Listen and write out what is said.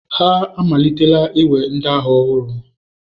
Ha amalitela iwe ndị agha ọhụrụ.